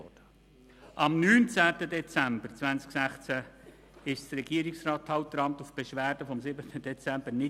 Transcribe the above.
Am 19.12.2016 trat das Regierungsstatthalteramt nicht auf die Beschwerde vom 07.12.2016 ein.